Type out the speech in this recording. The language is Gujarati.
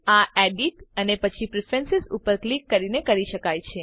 આ એડિટ અને પછી પ્રેફરન્સ ઉપર ક્લિક કરીને કરી શકાય છે